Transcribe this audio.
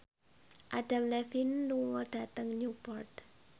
Adam Levine lunga dhateng Newport